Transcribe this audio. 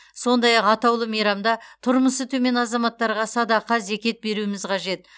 сондай ақ атаулы мейрамда тұрмысы төмен азаматтарға садақа зекет беруіміз қажет